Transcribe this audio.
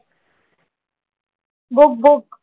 Book book.